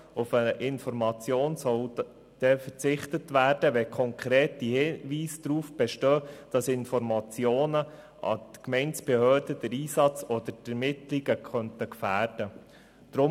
Auf eine Information soll dann verzichtet werden, wenn konkrete Hinweise darauf bestehen, dass Informationen an die Gemeindebehörden den Einsatz oder die Ermittlungen gefährden könnten.